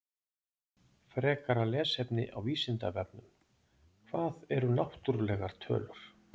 Frekara lesefni á Vísindavefnum: Hvað eru náttúrlegar tölur?